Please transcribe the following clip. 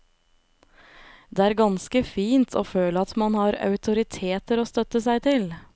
Det er ganske fint å føle at man har autoriteter å støtte seg til.